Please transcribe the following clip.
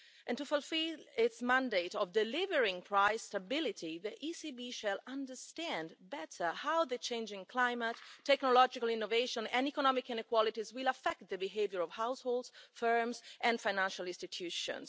To fulfil its mandate of delivering price stability, the ECB will better understand how the changing climate, technological innovation and economic inequalities will affect the behaviour of households, firms and financial institutions.